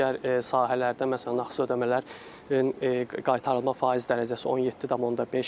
Digər sahələrdə, məsələn nağd ödəmələrin qaytarılma faiz dərəcəsi 17.5-dir.